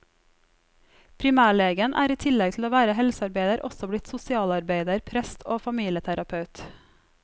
Primærlegen er i tillegg til å være helsearbeider også blitt sosialarbeider, prest og familieterapeut.